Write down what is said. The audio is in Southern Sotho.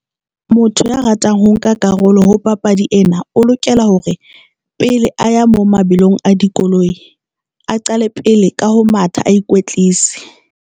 Motho ya ratang ho nka karolo ho papadi ena, o lokela hore pele a ya mo mabelong a dikoloi, a qale pele ka ho matha a ikwetlise.